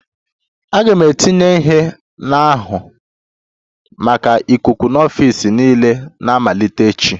A ga-etinye ihe na-ahụ maka ikuku n'ọfịs niile na-amalite echi